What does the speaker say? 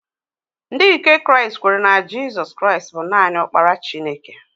Ndị nke Kraịst kweere na Jizọs Kraịst bụ naanị Ọkpara Chineke.